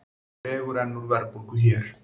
Dregur enn úr verðbólgu hér